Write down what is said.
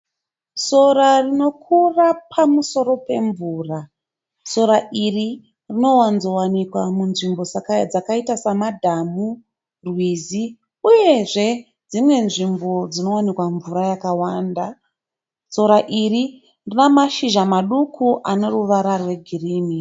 Sora rino kura pamusoro pemvura. Sora iri rino wanzo wanikwa munzvimbo dzakaita samadhu, rwizi uyezve dzimwe nzvimbo dzinowanikwa mvura yakawanda. Sora iri rina mashizha maduku ane ruvara rwegirini.